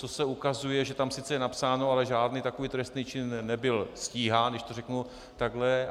Co se ukazuje, že tam sice je napsáno, ale žádný takový trestný čin nebyl stíhán, když to řeknu takhle.